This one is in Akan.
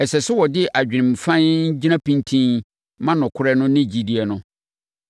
Ɛsɛ sɛ wɔde adwenem fann gyina pintinn ma nokorɛ no ne gyidie no.